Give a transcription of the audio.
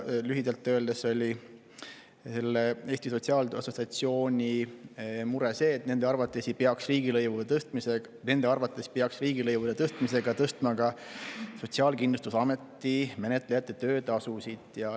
Lühidalt öeldes oli Eesti Sotsiaaltöö Assotsiatsiooni mure see, et nende arvates peaks riigilõivude tõstmisega tõstma ka Sotsiaalkindlustusameti menetlejate töötasusid.